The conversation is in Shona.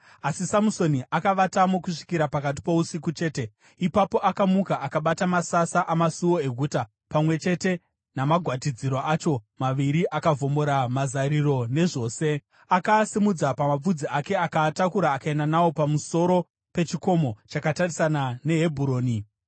Asi Samusoni akavatamo kusvikira pakati pousiku chete. Ipapo akamuka akabata masasa amasuo eguta, pamwe chete namagwatidziro acho maviri akaavhomora, mazariro nezvose. Akaasimudza pamapfudzi ake akaatakura akaenda nawo pamusoro pechikomo chakatarisana neHebhuroni.